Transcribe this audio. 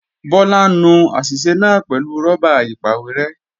Bọ́lá ń nu àṣìṣe náà pẹ̀lú rọ́bà ìpàwérẹ́